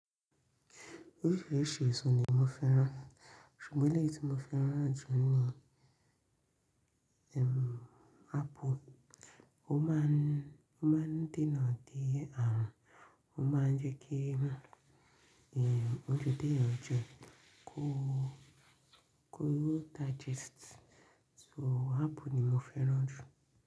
Oríṣìíríṣìí èso ni mo fẹ́ràn, ṣùgbọ́n eleyi tí mo fẹ́ràn jù ni apple. Ó máa ń dènà de àrùn, ó máa ń jẹ́ kí ounjẹ tèèyàn jẹ, kó digest. So apple ni mo fẹ́ràn jù.